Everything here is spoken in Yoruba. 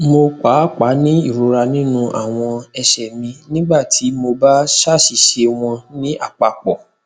mo paapaa ni irora ninu awọn ẹsẹ mi nigbati mo ba ṣaṣiṣẹ wọn ni apapọ